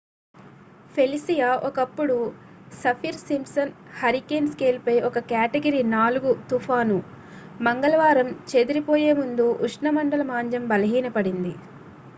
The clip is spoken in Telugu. ఫెలిసియా ఒకప్పుడు సఫిర్-సింప్సన్ హరికేన్ స్కేల్ పై ఒక కేటగిరీ 4 తుఫాను మంగళవారం చేదిరిపోయే ముందు ఉష్ణమండల మాంద్యం బలహీన పడింది